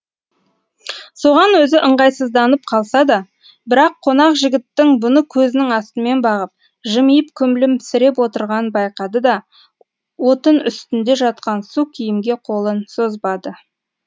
соған өзі ыңғайсызданып қалса да бірақ қонақ жігіттің бұны көзінің астымен бағып жымиып күлімсіреп отырғанын байқады да отын үстінде жатқан су киімге қолын созбады